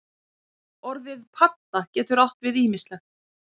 Orðið padda getur átt við ýmislegt.